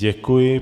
Děkuji.